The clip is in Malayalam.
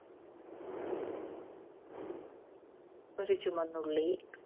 ഒരു ചുമന്നുള്ളി.